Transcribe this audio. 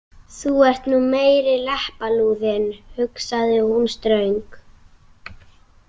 Þú ert nú meiri leppalúðinn, hugsaði hún ströng.